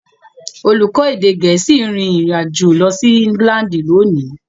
Olùkọ́ èdè Gẹ̀ẹ́sì ń rin ìrìn àjò lọ sí England lónìí.